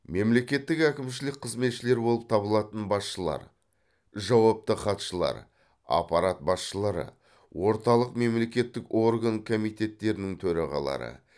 мемлекеттік әкімшілік қызметшілер болып табылатын басшылар жауапты хатшылар аппарат басшылары орталық мемлекеттік орган комитеттерінің төрағалары